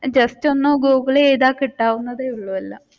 just ഒന്ന് Google ചെയ്‌താൽ കിട്ടാവുന്നതേ ഉള്ളു എല്ലാം